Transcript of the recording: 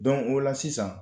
o la sisan